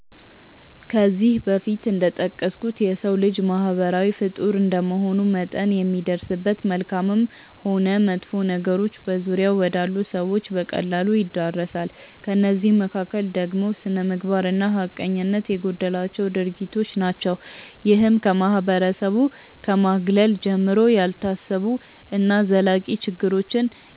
ከዚህ በፊት እንደጠቀስኩት የሰው ልጅ ማህበራዊ ፍጡር እንደመሆኑ መጠን የሚደርስበት መልካምም ሆን መጥፎ ነገሮች በዙሪያው ወዳሉ ሰዎች በቀላሉ ይዳረሳል። ከእነዚህ መካከል ደግሞ ስነምግባር እና ሀቀኝነት የጎደላቸው ድርጊቶች ናቸው። ይህም ከማህበረሰቡ ከማግለል ጀምሮ፣ ያልታሰቡ እና ዘላቂ ችግሮችን